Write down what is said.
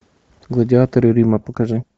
гладиаторы рима покажи